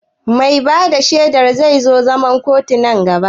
Mai ba da shaidar zai zo zaman kotu na gaba?